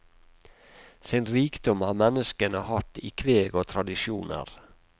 Sin rikdom har menneskene hatt i kveg og tradisjoner.